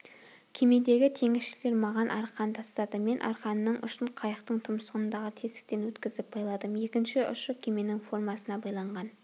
кемедегі теңізшілер маған арқан тастады мен арқанның ұшын қайықтың тұмсығындағы тесіктен өткізіп байладым екінші ұшы кеменің формасына байланған